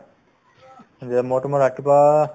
যে মই তোমাৰ ৰাতিপুৱা